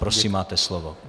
Prosím, máte slovo.